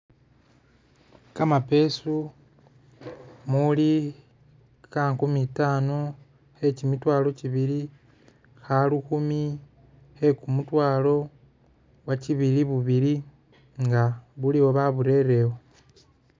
Kamapesu muli ka nkumi tano khe kimitwalo kibili kha lukumi, khe kumutwalo, bwakibili bubili nga buliwo baburelewo.